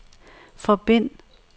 forbind